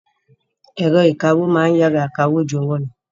Ẹ̀rọ ìkawó ma ń yára kawó ju ọwọ́ lọ